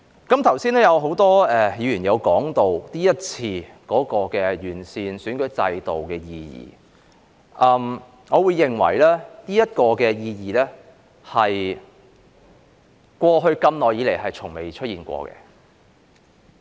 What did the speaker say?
剛才很多議員也提及今次完善選舉制度的意義，我認為這意義是過去這麼多年來從沒出現過的。